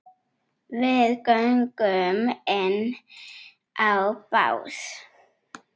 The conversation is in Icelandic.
Við göngum inn á bás